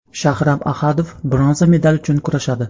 Shahram Ahadov bronza medal uchun kurashadi.